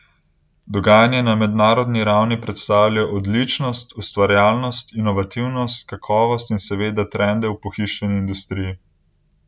Dogajanje na mednarodni ravni predstavlja odličnost, ustvarjalnost, inovativnost, kakovost in seveda trende v pohištveni industriji.